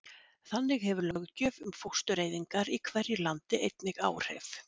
Þannig hefur löggjöf um fóstureyðingar í hverju landi einnig áhrif.